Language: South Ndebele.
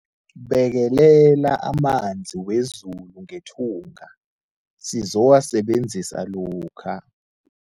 Bekelela amanzi wezulu ngethunga sizowasebenzisa lokha.